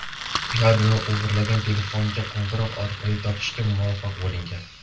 Ularni o‘g‘irlangan telefonga qo‘ng‘iroq orqali topishga muvaffaq bo‘lingan.